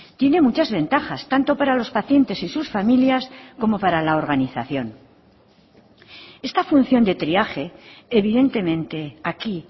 tiene muchas ventajas tanto para los pacientes y sus familias como para la organización esta función de triaje evidentemente aquí